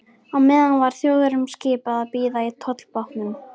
Á meðan var Þjóðverjunum skipað að bíða í tollbátnum.